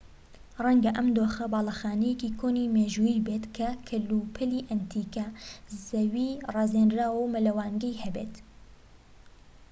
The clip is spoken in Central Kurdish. ڕەنگە ئەم دۆخە باڵەخانەیەکی کۆنی مێژوویی بێت کە کەلوپەلی ئەنتیکە زەوی ڕازێنراوە و مەلەوانگەی هەبێت